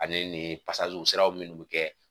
Ani ni sira minnu bɛ kɛ.